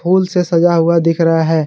फूल से सजा हुआ दिख रहा है।